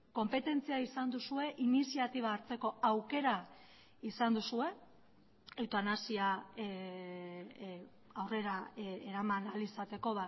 konpetentzia izan duzue iniziatiba hartzeko aukera izan duzue eutanasia aurrera eraman ahal izateko